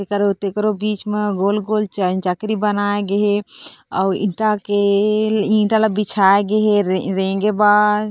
एकरो तकरो बिच म गोल-गोल चकरी बनाये गे हे अउ ईटा के ईटा ला बिछाए गे हे रेंगे बर--